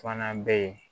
Fana bɛ yen